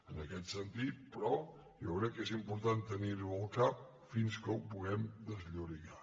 en aquest sentit però jo crec que és important tenir·ho al cap fins que ho puguem desllorigar